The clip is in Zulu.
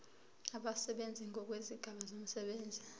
abasebenzi ngokwezigaba zomsebenzi